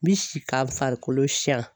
N bi si ka farikolo siyan